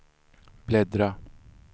bläddra